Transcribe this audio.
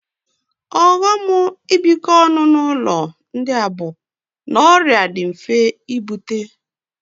Ọghọm ibikọ ọnụ n'ụlọ ndị a bụ na ọrịa dị mfe ibute